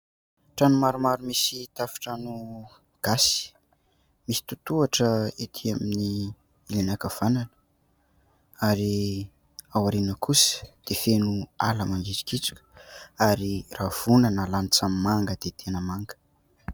Trano maromaro misy tafintrano gasy, misy totohatra etỳ amin'ny ankavanana ary ao ariana kosa dia feno ala mangitsokitsoka, ary rahavohana lanitra manga dia tena manga.